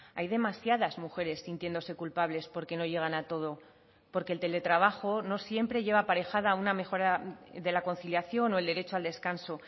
hay demasiadas mujeres sintiéndose culpables porque no llegan a todo porque el teletrabajo no siempre lleva aparejada una mejora de la conciliación o el derecho al descanso